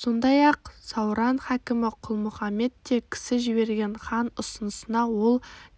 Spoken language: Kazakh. сондай-ақ сауран хакімі құлмұхамед те кісі жіберген хан ұсынысына ол